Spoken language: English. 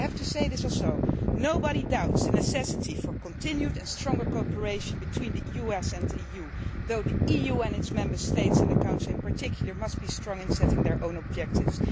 I also want to say that nobody doubts the necessity for continued and stronger cooperation between the US and the EU, though the EU and its Member States, in the Council in particular, must be strong in setting their own objectives.